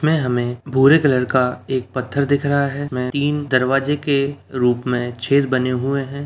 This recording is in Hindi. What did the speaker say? में हमें भूरे कलर का एक पत्थर दिख रहा है उसमें तीन दरवाजे के रूप में छेद बने हुए हैं।